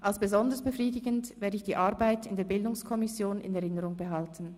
Als besonders befriedigend werde ich die Arbeit in der Bildungskommission in Erinnerung behalten.